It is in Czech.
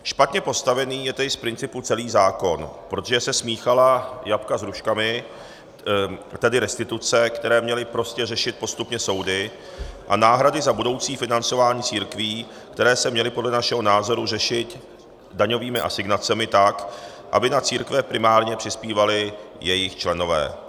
Špatně postavený je tedy z principu celý zákon, protože se smíchala jablka s hruškami, tedy restituce, které měly prostě řešit postupně soudy, a náhrady za budoucí financování církví, které se měly podle našeho názoru řešit daňovými asignacemi tak, aby na církve primárně přispívali jejich členové.